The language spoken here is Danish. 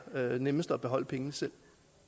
være nemmest at beholde pengene selv